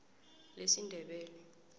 lesindebele